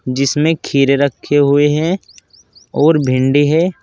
जिसमे खीरे रखे हुए है और भिंडी है।